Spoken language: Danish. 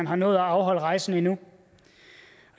har nået at afholde rejsen endnu